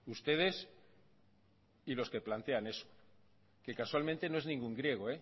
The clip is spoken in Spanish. ustedes y los que plantean eso que casualmente no es ningún griego